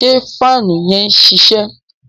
ṣe faanu yẹn ṣiṣẹ?